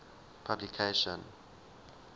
publication